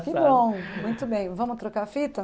Que bom, muito bem, vamos trocar a fita?